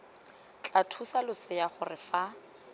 tla thusa losea gore fa